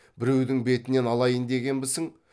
біреудің бетінен алайын дегенбісің